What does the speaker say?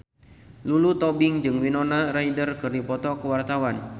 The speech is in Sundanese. Lulu Tobing jeung Winona Ryder keur dipoto ku wartawan